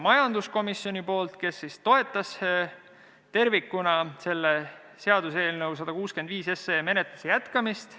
Majanduskomisjon toetas tervikuna seaduseelnõu 165 menetluse jätkamist.